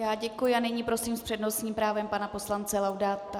Já děkuji a nyní prosím s přednostním právem pana poslance Laudáta.